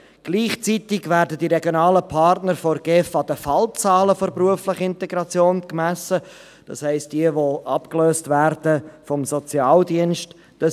Gleichzeitig werden die regionalen Partner von der GEF an den Fallzahlen der beruflichen Integration gemessen, das heisst, jene die vom Sozialdienst abgelöst werden.